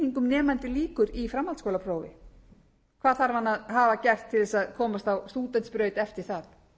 nemandinn lýkur í framhaldsskólaprófi hvað þarf hann að hafa gert til þess að komast á stúdentsbraut eftir það hæstvirtur